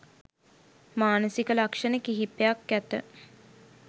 මානසික ලක්‍ෂණ කිහිපයක් ඇත.